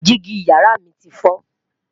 Digi yàrá mí ti foo